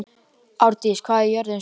Ardís, hvað er jörðin stór?